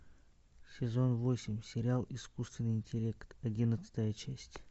сезон восемь сериал искусственный интеллект одиннадцатая часть